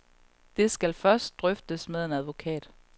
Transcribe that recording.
Det skal først drøftes med en advokat.